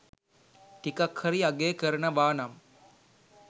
ටිකක් හරි අගය කරනවා නම්